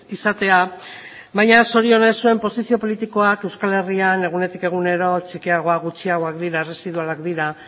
izatea baina zorionez zuen posizio politikoak euskal herrian egunetik egunero txikiagoak gutxiagoak dira erresidualak dira